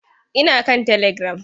Ina kan telegiram.